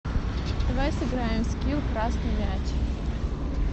давай сыграем в скил красный мяч